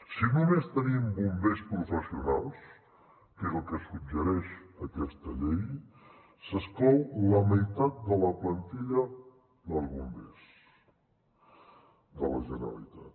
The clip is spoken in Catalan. si només tenim bombers professionals que és el que suggereix aquesta llei s’exclou la meitat de la plantilla dels bombers de la generalitat